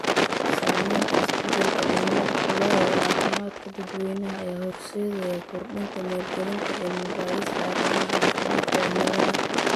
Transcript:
Saamaynta isbeddelka cimiladu ku leedahay caafimaadka dadweynaha ayaa horseedaya kordhinta maalgelinta cilmi baarista arrimaha caafimaadka cimilada.